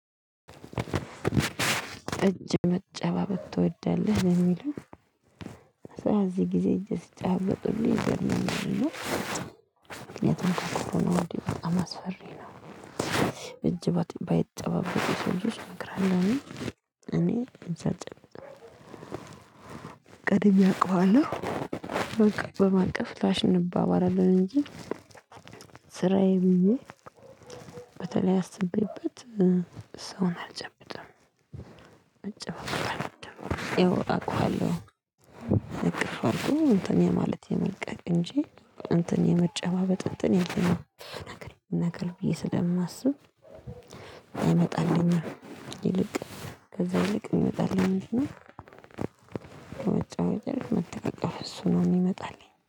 እጅ መጨባበጥ ትወዳለህ ለሚለው በእዚህ ጊዜ እጅ ሲጨባበጡ ሁሉ ይገርመኛል እና ምክንያቱም ኮሮና ወዲህ በጣም አስፈሪ ነው። ባይጨባበጡ ለልጆች እመክራለሁ። እኔ እኔ እጅ አልጨብጥም። ቀድሜ አውቀዋለሁ በቃ በማቀፍ ላሽ እንባባላለን አለኝ እንጂ። ስራዬ ብዬ በተለይ አስቤበት ሰውን አልጨብጥም። መጨባበጥ አልወድም ያው አውቃለሁ እቅፍ አድርጎ እንትን የማለት የመልቀቅ እንጂ እንትን የመጨባበጥ እንትን የመነገር ብዬ ስለማስብ። አይመጣልኝም ይልቅ ከዛ ይልቅ የሚመጣልኝ ምንድን ነው? እሱ ነው የሚመጣልኝ።